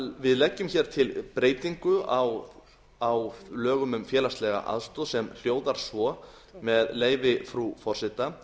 við leggjum hér til breytingu á lögum um félagslega aðstoð sem hljóðar svo með leyfi frú forseta